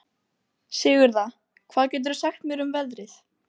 Sigurða, hvað geturðu sagt mér um veðrið?